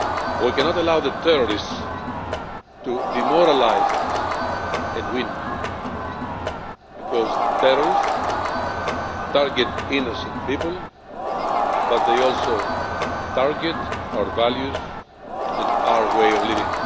We cannot allow the terrorists to demoralise us and win, because terrorists target innocent people, but they also target our values and our way of life.